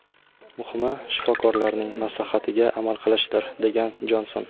Muhimi, shifokorlarning maslahatiga amal qilishdir”, degan Jonson.